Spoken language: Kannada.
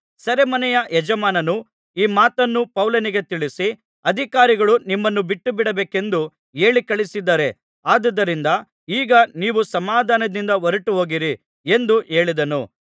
ಸೆರೆಮನೆಯ ಯಜಮಾನನು ಈ ಮಾತನ್ನು ಪೌಲನಿಗೆ ತಿಳಿಸಿ ಅಧಿಕಾರಿಗಳು ನಿಮ್ಮನ್ನು ಬಿಟ್ಟುಬಿಡಬೇಕೆಂದು ಹೇಳಿಕಳುಹಿಸಿದ್ದಾರೆ ಆದುದರಿಂದ ಈಗ ನೀವು ಸಮಾಧಾನದಿಂದ ಹೊರಟುಹೋಗಿರಿ ಎಂದು ಹೇಳಿದನು